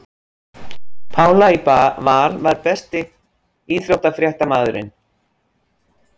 Pála í Val Besti íþróttafréttamaðurinn?